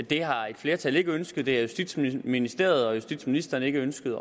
det har et flertal ikke ønsket det har justitsministeriet og justitsministeren ikke ønsket